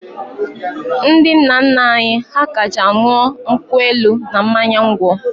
Ndị nna nna anyị ha kacha ṅụọ nkwụ elu na mmanya ngwọ.